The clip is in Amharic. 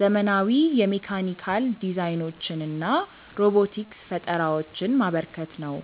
ዘመናዊ የሜካኒካል ዲዛይኖችንና ሮቦቲክስ ፈጠራዎችን ማበርከት ነው።